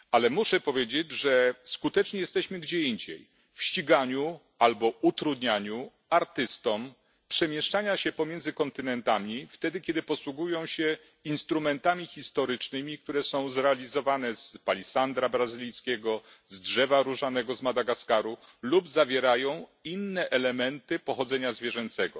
Ale muszę powiedzieć, że skuteczni jesteśmy gdzie indziej w ściganiu albo utrudnianiu artystom przemieszczania się między kontynentami, wtedy kiedy posługują się instrumentami historycznymi, które są zrealizowane z palisandru brazylijskiego, z drzewa różanego z Madagaskaru lub zawierają inne elementy pochodzenia zwierzęcego.